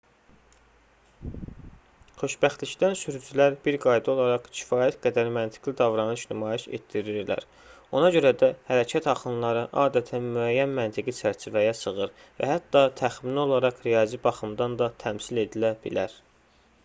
xoşbəxtlikdən sürücülər bir qayda olaraq kifayət qədər məntiqli davranış nümayiş etdirirlər ona görə də hərəkət axınları adətən müəyyən məntiqi çərçivəyə sığır və hətta təxmini olaraq riyazi baxımdan da təmsil edilə bilər